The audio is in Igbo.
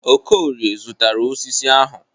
Okorie zụtara osisi ahụ.